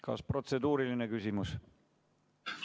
Kas protseduuriline küsimus?